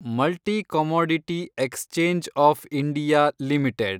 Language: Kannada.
multi commodity exchange of India limited